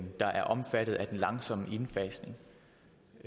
der er omfattet af en langsom indfasning